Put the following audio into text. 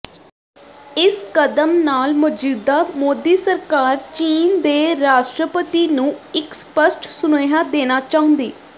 ਇਸ ਕਦਮ ਨਾਲ ਮੌਜੂਦਾ ਮੋਦੀ ਸਰਕਾਰ ਚੀਨ ਦੇ ਰਾਸ਼ਟਰਪਤੀ ਨੂੰ ਇੱਕ ਸਪੱਸ਼ਟ ਸੁਨੇਹਾ ਦੇਣਾ ਚਾਹੁੰਦੀ